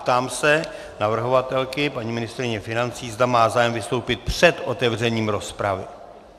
Ptám se navrhovatelky, paní ministryně financí, zda má zájem vystoupit před otevřením rozpravy.